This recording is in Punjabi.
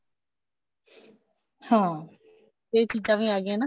ਹਾਂ ਇਹ ਚੀਜ਼ਾਂ ਵੀ ਆ ਗਈਆਂ ਨਾ